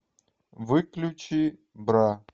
выключи бра